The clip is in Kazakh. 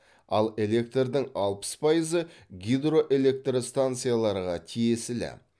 ал электрдің алпыс пайызы гидроэлектростанцияларға тиесілі